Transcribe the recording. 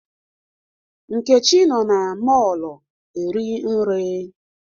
Nkechi nọ na mọọlụ eri nri.